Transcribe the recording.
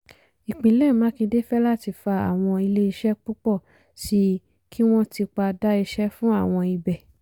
ìpínlẹ̀ makinde fẹ́láti fa àwọn ilé iṣẹ́ púpọ̀ sí i kí wọ́n tipa dá iṣẹ́ fún àwọn ibẹ̀.